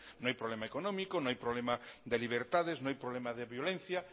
no hay problema económico no hay problema de libertades no hay problema de violencia